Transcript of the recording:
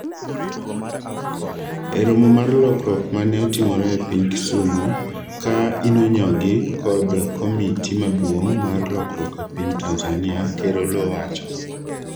e romo mar lokruok mane otimore e piny Kisumo, ka inonyogi kod komiti maduong' mar lokruok e piny Tanzania, ker Oloo owacho,